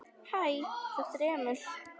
Hæ, þetta er Emil.